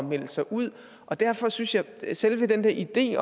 melde sig ud og derfor synes jeg at selve den idé